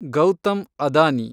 Gautam Adani